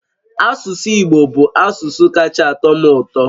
Asụsụ Igbo bụ asụsụ kacha atọ m ụtọ